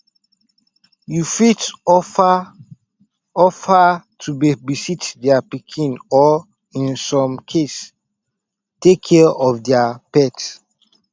you fit offer offer to babysit their pikin or in some case take care of their pet